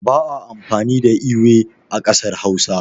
ba a amfani da ewe a kasar Hausa